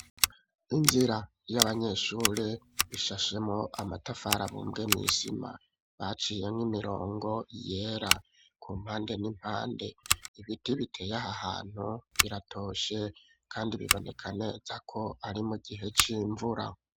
Inzira y'abanyeshure ishashemwo amatafari abumbwe mw'isima baciyemwo imirongo yera ku mpande n'impande ibiti biteye aho hantu biratoshe kandi bibonekaneza ko ari mu gihe c'imvura.